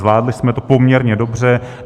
Zvládli jsme to poměrně dobře.